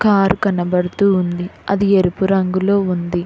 Car కనబడుతూ ఉంది అది ఎరుపు రంగులో ఉంది.